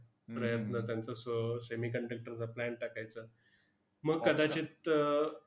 प्रयत्न त्यांचा स semiconductor चा plant टाकायचा. मग कदाचित अह